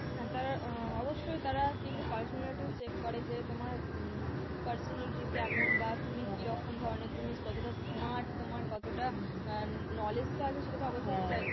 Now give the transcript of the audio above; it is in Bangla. হ্যাঁ তারা আহ অবশ্যই তারা কিন্তু personality ও check করে যে তোমার উম personality কেমন বা তুমি কিরকম ধরনের, তুমি কতটা smart তোমার কতটা knowledge তো আছে সেটা তো অবশ্যই check করে